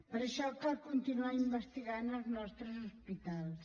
per això cal continuar investigant als nostres hospitals